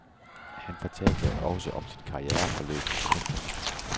Han fortalte også om sit karriereforløb. punktum